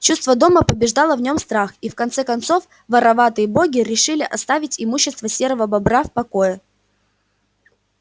чувство дома побеждало в нём страх и в конце концов вороватые боги решили оставить имущество серого бобра в покое